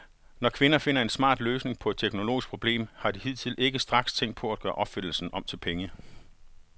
Når kvinder finder en smart løsning på et teknologisk problem, har de hidtil ikke straks tænkt på at gøre opfindelsen om til penge.